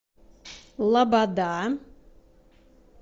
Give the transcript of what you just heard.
лобода